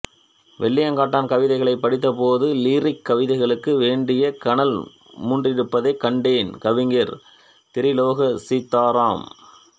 வெள்ளியங்காட்டான் கவிதைகளைப் படித்தபோது லிரிக் கவிதைகளுக்கு வேண்டிய கனல் மூண்டிருப்பதைக் கண்டேன் கவிஞர் திரிலோக சீதாராம்